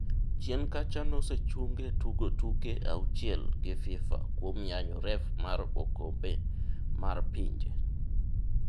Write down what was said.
Chien kacha nosechunge tugo tuke auchiel gi Fifa kuom yanyo ref mar okombe mar pinje.